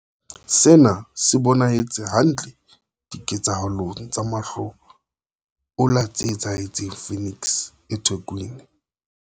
Sena se bonahetse hantle diketsahalong tsa mahlo ola tse etsahetseng Phoenix eThekwini.